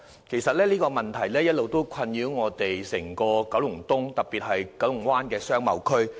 其實這問題一直困擾整個九龍東，特別是九龍灣的商貿區。